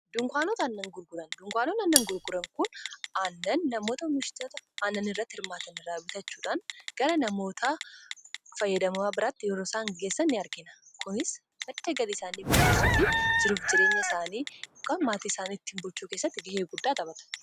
Dukaanonni aannan gurguran oomishitoota aannanii irraa bituudhaan gara fayyadamtootaatti yommuu geessan ni argina. Kunis madda galii isaanii guddisuu fi jiruuf jireenya maatii isaanii fooyyessuu keessatti gahee guddaa taphata.